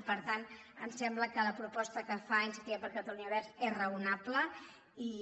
i per tant ens sembla que la proposta que fa iniciativa per catalunya verds és raonable i